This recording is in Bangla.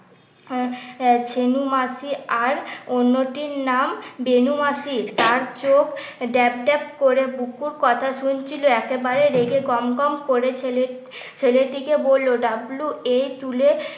শিমু মাসি আর অন্যটির নাম বেনু মাসি আর চোখ ড্যাব ড্যাব করে বুকুর কথা শুনছিল একেবারে রেগে গম গম করে ছেলের ছেলেটিকে বলল ডাবলু এ তুলে